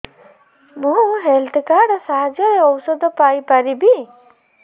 ମୁଁ health card ସାହାଯ୍ୟରେ ଔଷଧ ପାଇ ପାରିବି